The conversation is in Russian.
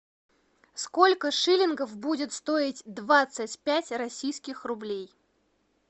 сколько шиллингов будет стоить двадцать пять российских рублей